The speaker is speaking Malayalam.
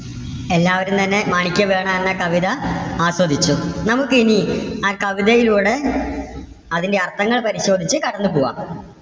എല്ലാവരും തന്നെ മാണിക്യവീണ എന്ന കവിത ആസ്വദിച്ചു. നമുക്ക് ഇനി ആ കവിതയിലൂടെ അതിന്റെ അർത്ഥങ്ങൾ പരിശോധിച്ച് കടന്നു പോകാം.